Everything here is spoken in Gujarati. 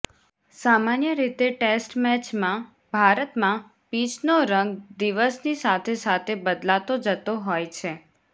સામાન્ય રીતે ટેસ્ટ મેચમાં ભારતમાં પીચનો રંગ દિવસની સાથે સાથે બદલાતો જતો હોય છે